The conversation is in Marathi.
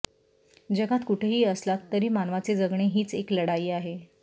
जगात कुठेही असलात तरी मानवाचे जगणे हिच एक लढाई आहे